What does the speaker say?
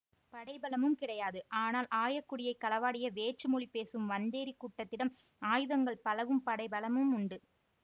படை பலமும் கிடையாது ஆனால் ஆயக்குடியை களவாடிய வேற்று மொழி பேசும் வந்தேறி கூட்டத்திடம் ஆயுதங்கள் பலவும் படைபலமும் உண்டு